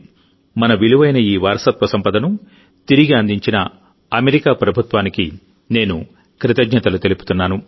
మన విలువైన ఈ వారసత్వ సంపదను తిరిగి అందించిన అమెరికా ప్రభుత్వానికి నేను కృతజ్ఞతలు తెలుపుతున్నాను